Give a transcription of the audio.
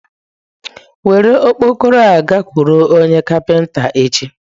Were okpokoro a gakwuru onye kapinta echi.